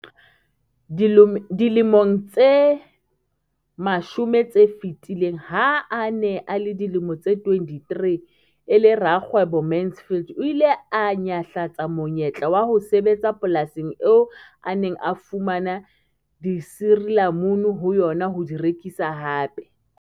Dilemong tse 10 tse fetileng, ha a ne a le dilemo tse 23 e le rakgwebo, Mansfield o ile a nyahlatsa monyetla wa ho sebetsa polasing eo a neng a fumana disirilamunu ho yona ho di rekisa hape.